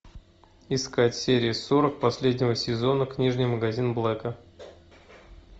искать серия сорок последнего сезона книжный магазин блэка